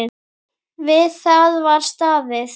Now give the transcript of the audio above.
Við það var staðið.